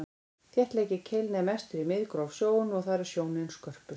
þéttleiki keilna er mestur í miðgróf sjónu og þar er sjónin skörpust